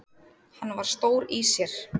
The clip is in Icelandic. Hann var stór í sér.